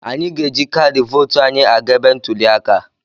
Anyị ga-eji kaadị vootu anyị aga ebe ntuli aka.